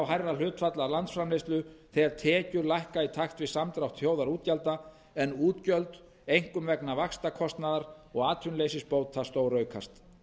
hærra hlutfall af landsframleiðslu þegar tekjur lækka í takt við samdrátt þjóðarútgjalda en útgjöld einkum vegna vaxtakostnaðar og atvinnuleysisbóta stóraukast